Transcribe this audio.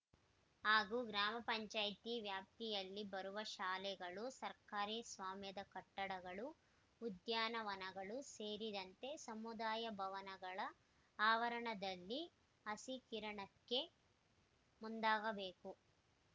ಹಾಗೂ ಗ್ರಾಮ ಪಂಚಾಯಿತಿ ವ್ಯಾಪ್ತಿಯಲ್ಲಿ ಬರುವ ಶಾಲೆಗಳು ಸರ್ಕಾರಿ ಸ್ವಾಮ್ಯದ ಕಟ್ಟಡಗಳು ಉದ್ಯಾನವನಗಳು ಸೇರಿದಂತೆ ಸಮುದಾಯ ಭವನಗಳ ಆವರಣದಲ್ಲಿ ಹಸಿರೀಕರಣಕ್ಕೆ ಮುಂದಾಗಬೇಕು